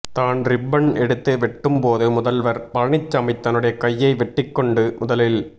தான் ரிப்பன் எடுத்து வெட்டும் போது முதல்வர் பழனிசாமி தன்னுடைய கையை வெட்டிக்கொண்டு முதலில்